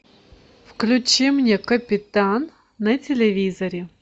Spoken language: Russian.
включи мне капитан на телевизоре